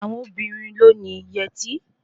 Àwọn obìnrin ló ni yẹtí